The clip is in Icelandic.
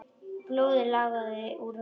Blóðið lagaði úr höfði hans.